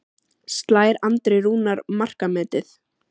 Slær Andri Rúnar markametið?